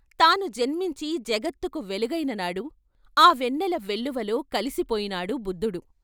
తాను జన్మించి జగత్తుకు వెలుగైననాడు ఆ వెన్నెల వెల్లువలో కలిసి పోయినాడు బుద్దుడు.